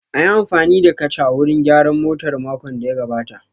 An yi amfani da kacha wurin gyaran motar makon da ya gabata